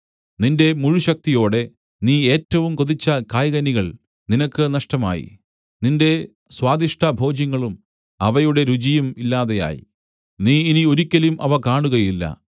നിന്റെ മുഴുശക്തിയോടെ നീ ഏറ്റവും കൊതിച്ച കായ്കനികൾ നിനക്ക് നഷ്ടമായി നിന്റെ സ്വാദിഷ്ട ഭോജ്യങ്ങളും അവയുടെ രുചിയും ഇല്ലാതെയായി നീ ഇനി ഒരിക്കലും അവ കാണുകയില്ല